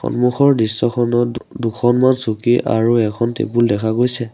সন্মুখৰ দৃশ্যখনত দু-দুখনমান চকী আৰু এখন টেবুল দেখা গৈছে।